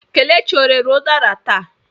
Kelechi ọ rere udara taa?